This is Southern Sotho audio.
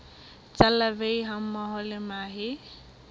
tsa larvae hammoho le mahe